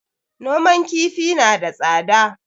Noman kifi na da tsada